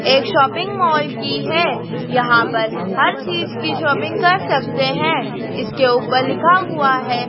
एक shopping mall की हैं यहाँ पर हर चीज की शॉपिंग कर सकते हैं इसके ऊपर लिखा हुआ हैं--